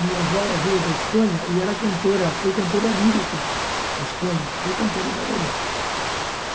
Minha avó veio da Espanha e era cantora, foi cantora lírica na Espanha, foi cantora e bailarina.